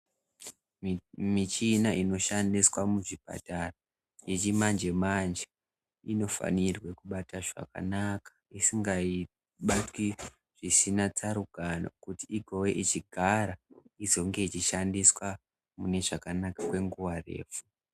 Mimichina inoshandiswa muzvipatara , yechimanje-manje, inofanirwe kubata zvakanaka isingabatwi zvisina tsarukano, kuti igove ichigara, izonge ichishandiswa, mune zvakanaka, kwenguva repfu.